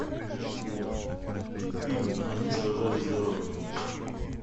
фильм они сражались за родину